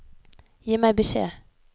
Gi meg beskjed